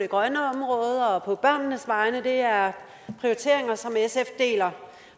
det grønne område og på børnenes vegne det er prioriteringer som sf deler